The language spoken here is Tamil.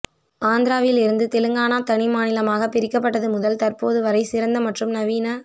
ஆந்திராவில் இருந்து தெலுங்கானா தனி மாநிலமாக பிரிக்கப்பட்டது முதல் தற்போது வரை சிறந்த மற்றும் நவீன